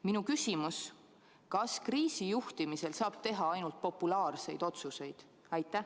Minu küsimus: kas kriisi juhtimisel on õige teha ainult populaarseid otsuseid?